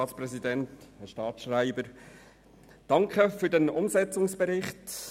Danke für den Umsetzungsbericht.